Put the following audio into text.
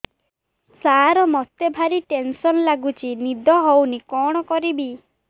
ସାର ମତେ ଭାରି ଟେନ୍ସନ୍ ଲାଗୁଚି ନିଦ ହଉନି କଣ କରିବି